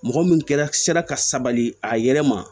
Mɔgɔ min kɛra sera ka sabali a yɛrɛ ma